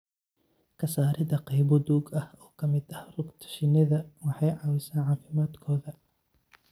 Ka saarida qaybo duug ah oo ka mid ah rugta shinnida waxay caawisaa caafimaadkooda.